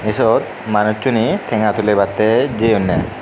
ei syot manujjuney tenga tuli batty jeyunneh.